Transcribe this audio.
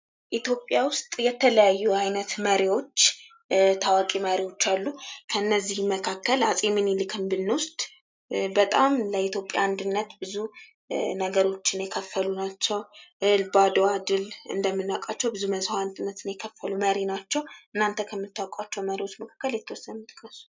ኢትዮጵያ ዉስጥ የተለያዩ አይነት መሪዎች ታዋቂ መሪዎች አሉ። ከእነዚያ መካከል አፄ ሚኒሊክን ብንወስድ በጣም ለኢትዮጵያ አንድነት ብዙ ነገሮችን የከፈሉ ናቸዉ። በአድዋ ድል እንደምናዉቀዉ ብዙ መስዋዕትን የከፈሉ ናቸዉ። እናተ ከምታዉቋቸዉ መሪዎች መካከል የተወሰኑትን ጥቀሱ?